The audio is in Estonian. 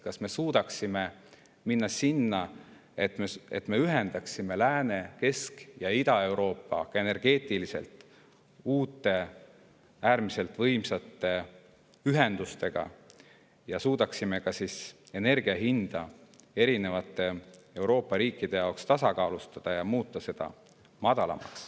Kas me suudaksime sinna, et me ühendame Lääne‑, Kesk‑ ja Ida-Euroopa energeetiliselt uute äärmiselt võimsate ühendustega, ja suudaksime ka energia hinda erinevate Euroopa riikide jaoks tasakaalustada ja madalamaks muuta?